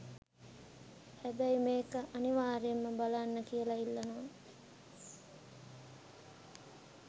හැබයි මේක අනිවාර්යයෙන් බලන්න කියලා ඉල්ලනවා.